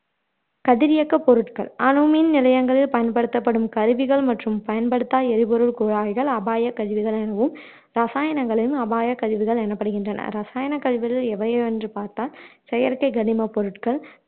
கதிரியக்க பொருட்கள் அணுமின் நிலையங்களில் பயன்படுத்தப்படும் கருவிகள் மற்றும் பயன்படுத்தா எரிபொருள் குழாய்கள் அபாய கழிவுகள் எனவும் இரசாயனகளும் அபாய கழிவுகள் எனப்படுகின்றன இரசாயன கழிவுகள் எவை எவை என்று பார்த்தால் செயற்கை கனிமப் பொருட்கள்